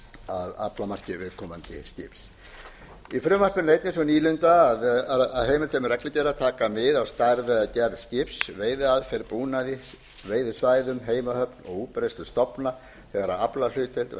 af aflamarki viðkomandi skips í frumvarpinu er einnig sú nýlunda að heimildir með reglugerðir taka mið af stærð eða gerð skips veiðiaðferð búnaði veiðisvæðum heimahöfn og útbreiðslu stofna þegar aflahlutdeild